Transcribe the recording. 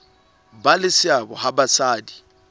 ba le seabo ha basadi